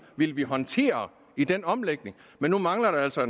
vi ville håndtere i den omlægning men nu mangler der altså